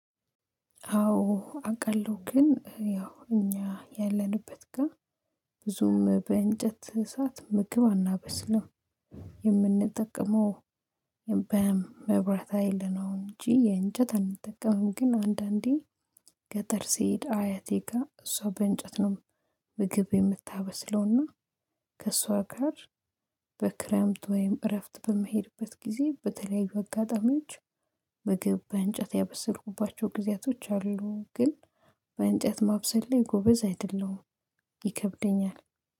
አዎ አዉቃለው ግን ያው እኛ ያለንበት ጋር ብዙም በእንጨት እሳት ምግብ አናበስልም የምንጠቅመው መብራት ሀይል ነው እንጂ የእንጨት አንጠቀምም ግን አንዳንዴ ገጠር ሲሄድ አያቴ ጋር እሷ በእንጨት ነው ምግብ የምታበስለውና ከእሷ ጋር በክረምት ወይም እረፍት በምሄድበት ጊዜ በተለያዩ አጋጣሚዎች ምግብ በእንጨት ያበሰልኩባቸው ጊዜያቶች አሉ ግን በእንጨት ማብሰል ላይ ጎበዝ አይደለሁም ይከብደኛል።